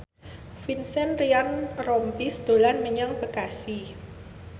Vincent Ryan Rompies dolan menyang Bekasi